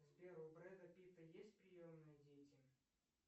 сбер у бреда питта есть приемные дети